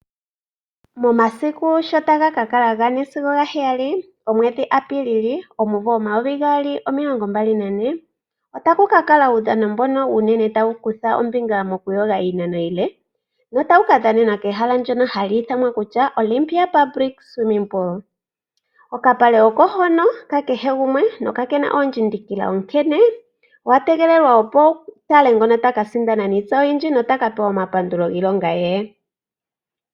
Momasiku shotaga ka kala ga4-7 komwedhi Apiilili omumvo 2024 otaku ka kala uudhano mbono uunene tawu kutha ombinga mokuyoga iinano iile notau ka dhanena kehala ndyono hali ithanwa kutya Olympia public Swimming pool. Okapale oko hono kakehe gumwe nokakena oondjindikila onkene owa tegelelwa opo wu kalengono taka sindana niitsa oyindji nota ka pewa omapandulo giilonga ye.